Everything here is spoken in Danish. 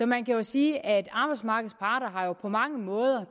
man kan jo sige at arbejdsmarkedets parter på mange måder